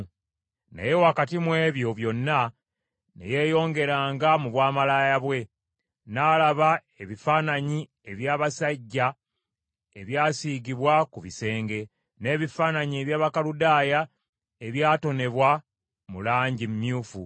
“Naye wakati mu ebyo byonna, ne yeeyongeranga mu bwamalaaya bwe; n’alaba ebifaananyi eby’abasajja ebyasiigibwa ku bisenge, n’ebifaananyi eby’Abakaludaaya ebyatonebwa mu langi emyufu,